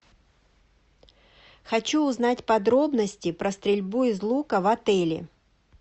хочу узнать подробности про стрельбу из лука в отеле